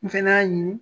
N fɛnɛ y'a ɲini